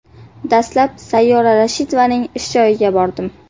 Dastlab Sayyora Rashidovaning ish joyiga bordim.